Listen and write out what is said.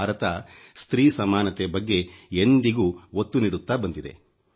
ಭಾರತ ಸ್ತ್ರೀ ಸಮಾನೆತ ಬಗ್ಗೆ ಎಂದಿಗೂ ಒತ್ತು ನೀಡುತ್ತಾ ಬಂದಿದೆ